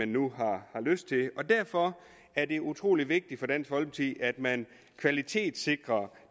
nu har lyst til det og derfor er det utrolig vigtigt for dansk folkeparti at man kvalitetssikrer